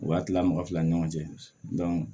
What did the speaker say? U ka kila mɔgɔ fila ni ɲɔgɔn cɛ